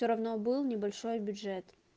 все равно был небольшой бюджет